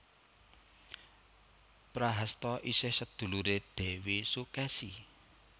Prahasta isih seduluré Dèwi Sukesi